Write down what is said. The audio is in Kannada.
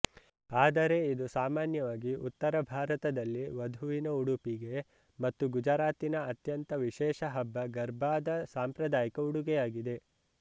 ಆದರೆ ಇದು ಸಾಮಾನ್ಯವಾಗಿ ಉತ್ತರ ಭಾರತದಲ್ಲಿ ವಧುವಿನ ಉಡುಪಿಗೆ ಮತ್ತು ಗುಜರಾತಿನ ಅತ್ಯಂತ ವಿಶೇಷ ಹಬ್ಬ ಗರ್ಬಾದ ಸಾಂಪ್ರದಾಯಿಕ ಉಡುಗೆಯಾಗಿದೆ